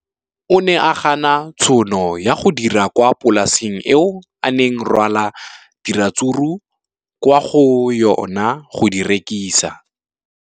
O ne a gana tšhono ya go dira kwa polaseng eo a neng rwala diratsuru kwa go yona go di rekisa.